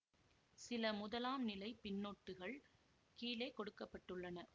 சில முதலாம் நிலை பின்னொட்டுகள் கீழே கொடுக்க பட்டுள்ளன